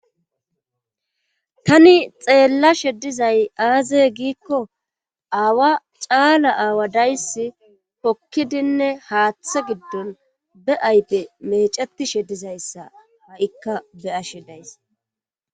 Tani xeellashe dizay aaze giikko aawa caala aawa dayssi hokkidinne haaththe giddon be ayfe meceti shedizayssa ha7ikka be'ashe days.